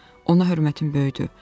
Ona hörmətim böyüdü.